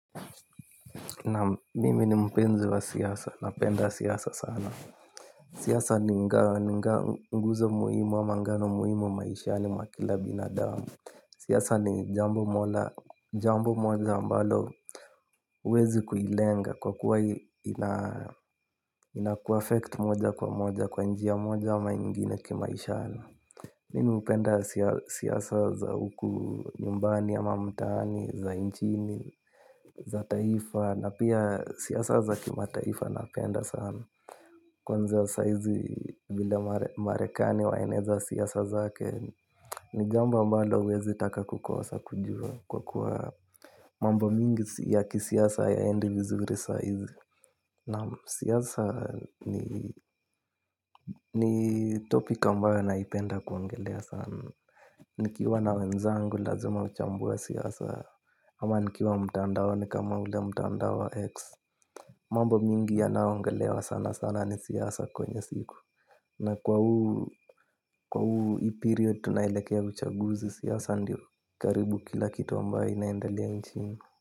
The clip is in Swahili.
Naam. Mimi ni mpenzi wa siasa, napenda siasa sana. Siasa ni nguzo muhimu ama ngano muhimu maishani mwa kila binadamu. Siasa ni jambo moja ambalo huwezi kuilenga kwa kuwa inakuaffect moja kwa moja kwa njia moja ama ingine kimaishani. Mimi hupenda siasa za huku nyumbani ama mtaani, za nchini, za taifa na pia siasa za kimataifa napenda sana. Kwanza, saa hizi vile Marekani waeneza siasa zake ni jambo ambalo huwezi taka kukosa kujua kwa kuwa mambo mingi ya kisiasa hayaendi vizuri saa hizi. Naam. Siasa ni topic ambayo naipenda kuongelea sana. Nikiwa na wenzangu lazima huchambua siasa ama nikiwa mtandaoni kama ule mtandao wa X. Mambo mingi yanayoongelewa sana sana ni siasa kwenye siku. Na kwa huu hii period tunaelekea uchaguzi siasa ndio karibu kila kitu ambayo inaendelea nchini.